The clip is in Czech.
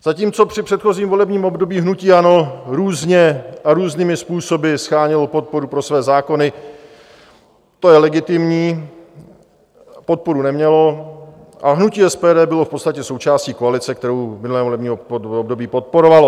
Zatímco při předchozím volebním období hnutí ANO různě a různými způsoby shánělo podporu pro své zákony, to je legitimní, podporu nemělo a hnutí SPD bylo v podstatě součástí koalice, kterou v minulém volebním období podporovalo.